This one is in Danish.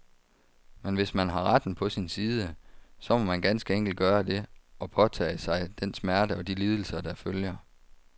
Men hvis man har retten på sin side, så må man ganske enkelt gøre det, og påtage sig den smerte og de lidelser, der følger.